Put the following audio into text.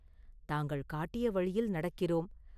தாங்கள் காட்டிய வழியில் நடக்கிறோம்.